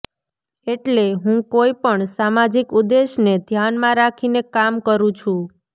એટલે હું કોઇ પણ સામાજિક ઉદ્દેશને ધ્યાનમાં રાખીને કામ કરું છું